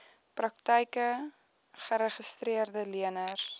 praktyke geregistreede leners